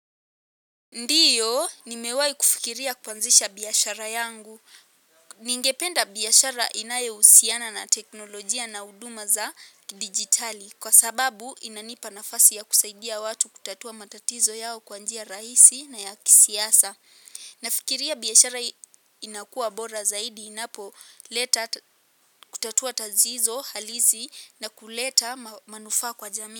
Ndiyo, nimewahi kufikiria kuanzisha biashara yangu. Ningependa biashara inayohusiana na teknolojia na huduma za kidigitali. Kwa sababu inanipa nafasi ya kusaidia watu kutatua matatizo yao kwa njia rahisi na ya kisiasa. Nafikiria biashara inakua bora zaidi inapoleta kutatua tatizo, halisi na kuleta manufaa kwa jamii.